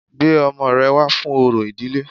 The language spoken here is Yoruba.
Gbé ọmọ rẹ wá fún orò ilé